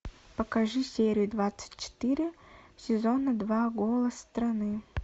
покажи серию двадцать четыре сезона два голос страны